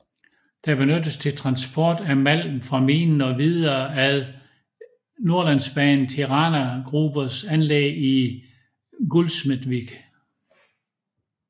Det benyttes til transport af malm fra minen og videre ad Nordlandsbanen til Rana Grubers anlæg i Gullsmedvik